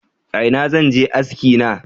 Ina zan je aski na?